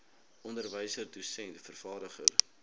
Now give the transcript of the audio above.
onderwyser dosent vervaardiger